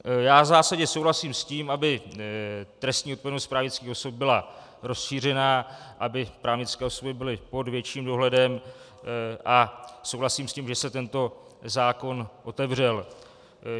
Já v zásadě souhlasím s tím, aby trestní odpovědnost právnických osob byla rozšířena, aby právnické osoby byly pod větším dohledem, a souhlasím s tím, že se tento zákon otevřel.